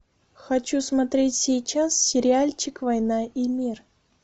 хочу смотреть сейчас сериальчик война и мир